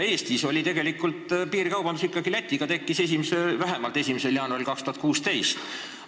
Eestis tekkis piirikaubandus Läti piiril juba vähemalt pärast 1. jaanuari 2016.